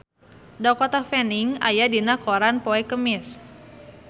Dakota Fanning aya dina koran poe Kemis